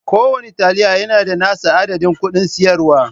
Kowane taliya yana da nasa adadin kudin siyarwa.